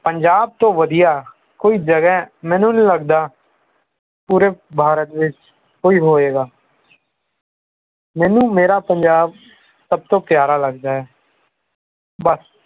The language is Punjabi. ਪੰਜਾਬ ਤੋਂ ਵਧੀਆ ਕੋਈ ਜਗ੍ਹਾ ਮੈਨੂੰ ਨਹੀਂ ਲਗਦਾ ਪੂਰੇ ਭਾਰਤ ਵਿਚ ਕੋਈ ਹੋਵੇਗਾ ਮੈਨੂੰ ਮੇਰਾ ਪੰਜਾਬ ਸਭ ਤੋਂ ਪਿਆਰਾ ਲਗਦਾ ਹੈ ਬਸ